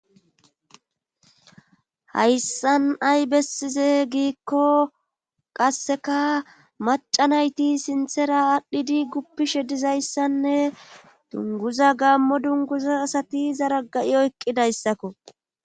Hayssan ay bessize giikko qasseka maca nayti sinthera aadhdhidi guppishe dizayssanne dunguza gammo dunguza asati zara ga7i oyqqidayssakko.